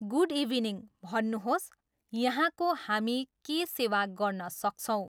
Good evening, भन्नुहोस, यहाँको हामी के सेवा गर्न सक्छौँ।